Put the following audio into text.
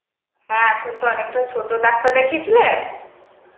হ্যাঁ এখন তো অনেক টা ছোট. ডাক্তার দেখিয়ে ছিলে ?